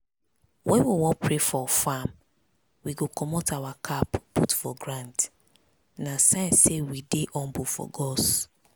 when we wan pray for farm we go commot our cap put for ground na sign say we dey humble for gods.